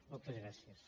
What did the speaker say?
moltes gràcies